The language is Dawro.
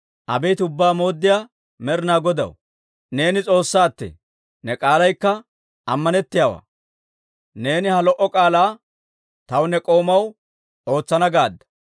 Abeet Ubbaa Mooddiyaa Med'inaa Godaw, neeni S'oossaattee! Ne k'aalaykka ammanettiyaawaa; neeni ha lo"o k'aalaa taw ne k'oomaw ootsana gaadda.